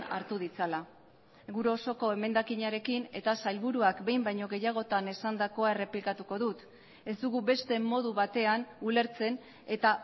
hartu ditzala gure osoko emendakinarekin eta sailburuak behin baino gehiagotan esandakoa errepikatuko dut ez dugu beste modu batean ulertzen eta